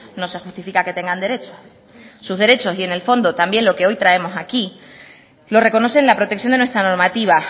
no se justifica que tengan derechos sus derechos y en el fondo también lo que hoy traemos aquí lo reconoce en la protección de nuestra normativa